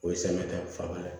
O ye samiya ta ye fanga ye